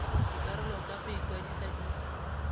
dikarolo tsa go ikwadisa di